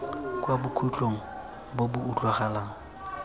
kwa bokhutlong bo bo utlwalang